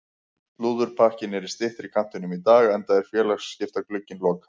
Slúðurpakkinn er í styttri kantinum í dag enda er félagaskiptaglugginn lokaður.